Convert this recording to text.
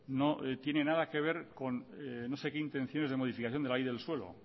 no tiene nada que ver con no sé qué intenciones de modificación de la ley del suelo